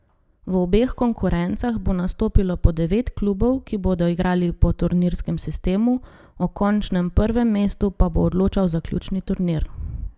V obeh konkurencah bo nastopilo po devet klubov, ki bodo igrali po turnirskem sistemu, o končnem prvem mestu pa bo odločal zaključni turnir.